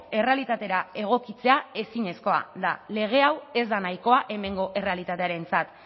errealitatera egokitzea ezinezkoa da lege hau ez da nahikoa hemengo errealitatearentzat